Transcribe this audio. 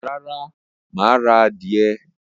Rárá, máà ra adìyẹ